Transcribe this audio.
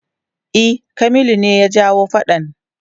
E, Kamilu ne ya jawo faɗan.